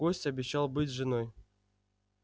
гость обещал быть с женой